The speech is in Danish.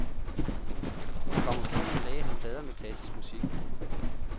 På grammofonen lagde han plader med klassisk musik.